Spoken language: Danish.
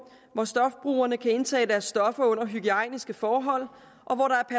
hvor stofbrugerne kan indtage deres stoffer under hygiejniske forhold